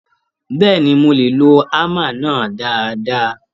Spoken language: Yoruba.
Bẹ́ẹ̀ni, mo lè lo hámà náà dáadáa.